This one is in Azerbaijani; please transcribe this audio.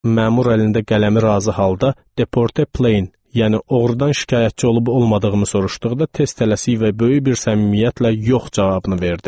Məmür əlində qələmi razı halda Deporter plain, yəni oğrudan şikayətçi olub-olmadığımı soruşduqda tez tələsik və böyük bir səmimiyyətlə yox cavabını verdim.